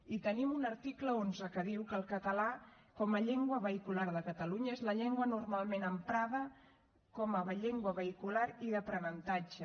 i tenim un article onze que diu que el català com a llengua vehicular de catalunya és la llengua normalment emprada com a llengua vehicular i d’aprenentatge